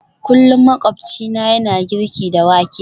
Kullum makwabcina yana girki da wake